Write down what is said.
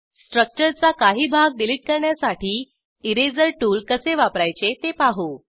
स्ट्रक्चरचा काही भाग डिलीट करण्यासाठी इरेजर टूल कसे वापरायचे ते पाहू